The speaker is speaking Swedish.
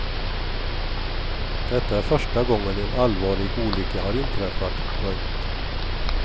Detta är första gången en allvarlig olycka har inträffat. punkt